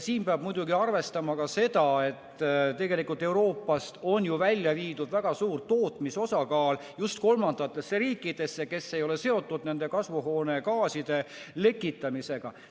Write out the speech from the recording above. Siin peab muidugi arvestama ka seda, et tegelikult on Euroopast ju välja viidud väga suur osa tootmisest just kolmandatesse riikidesse, kes ei ole seotud kasvuhoonegaaside lekitamisega.